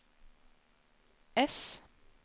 ess